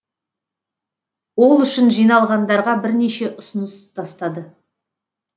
ол үшін жиналғандарға бірнеше ұсыныс тастады